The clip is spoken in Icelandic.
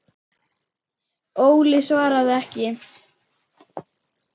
Óli svaraði ekki.